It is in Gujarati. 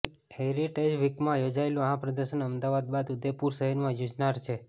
હેરિટેજ વીકમાં યોજાયેલું આ પ્રદર્શન અમદાવાદ બાદ ઉદેપુર શહેરમાં યોજાનાર છે